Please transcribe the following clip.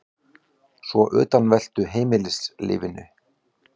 Svo utanveltu í heimilislífinu.